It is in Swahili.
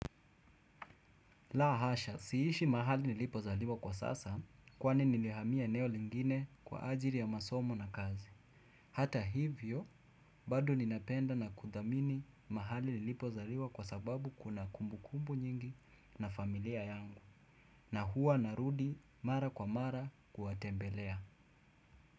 La hasha, siishi mahali nilipozaliwa kwa sasa kwani nilihamia eneo lingine kwa ajiri ya masomo na kazi. Hata hivyo, badi ninapenda na kudhamini mahali nilipozaliwa kwa sababu kuna kumbukumbu nyingi na familia yangu. Na huwa narudi mara kwa mara kuwatembelea.